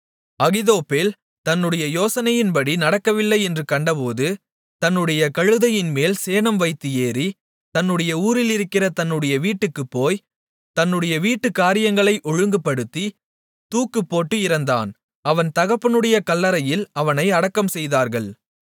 அகித்தோப்பேல் தன்னுடைய யோசனையின்படி நடக்கவில்லை என்று கண்டபோது தன்னுடைய கழுதையின்மேல் சேணம்வைத்து ஏறி தன்னுடைய ஊரிலிருக்கிற தன்னுடைய வீட்டுக்குப் போய் தன்னுடைய வீட்டுக்காரியங்களை ஒழுங்குபடுத்தி தூக்குப்போட்டு இறந்தான் அவன் தகப்பனுடைய கல்லறையில் அவனை அடக்கம்செய்தார்கள்